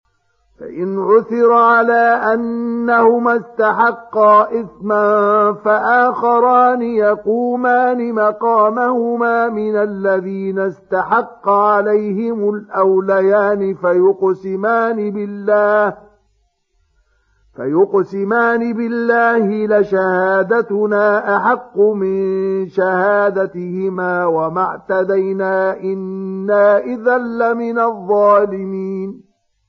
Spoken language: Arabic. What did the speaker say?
فَإِنْ عُثِرَ عَلَىٰ أَنَّهُمَا اسْتَحَقَّا إِثْمًا فَآخَرَانِ يَقُومَانِ مَقَامَهُمَا مِنَ الَّذِينَ اسْتَحَقَّ عَلَيْهِمُ الْأَوْلَيَانِ فَيُقْسِمَانِ بِاللَّهِ لَشَهَادَتُنَا أَحَقُّ مِن شَهَادَتِهِمَا وَمَا اعْتَدَيْنَا إِنَّا إِذًا لَّمِنَ الظَّالِمِينَ